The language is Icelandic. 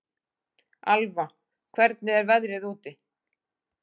Alva, hvernig er veðrið úti?